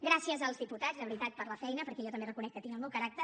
gràcies als diputats de veritat per la feina perquè jo també reconec que tinc el meu caràcter